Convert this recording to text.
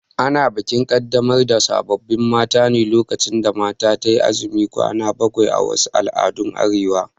Ana bikin Kaddamar da sabon mata ne lokacin da mata tayi azumin kwana bakwai a wasu al'adun Arewa